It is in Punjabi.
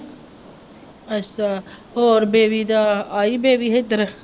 ਅੱਛਾ ਹੋਰ ਬੇਬੀ ਦਾ ਆਈ ਬੇਬੀ ਇੱਧਰ